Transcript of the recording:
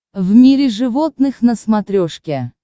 в мире животных на смотрешке